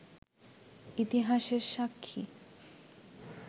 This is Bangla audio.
ইতিহাসের সাক্ষী